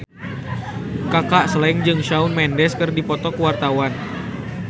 Kaka Slank jeung Shawn Mendes keur dipoto ku wartawan